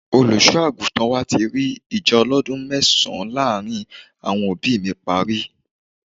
Olùṣọ́ àgùntàn wa ti rí ìjà ọlọ́dún mẹ́sàn-án láàárín àwọn òbí mi parí.